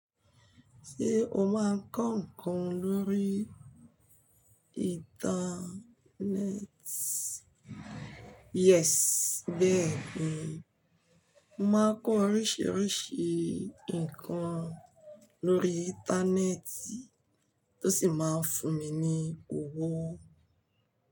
Ṣé o máa ń kọ ǹkan lórí ìntanẹ́ẹ̀tì? Yes, bẹ́ẹ̀ ni, mo máa ń kọ oríṣìíríṣìí ǹkan lórí ìntanẹ́ẹ̀tì tó sì máa ń fún mi ní owó.